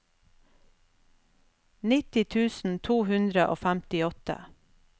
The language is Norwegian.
nitti tusen to hundre og femtiåtte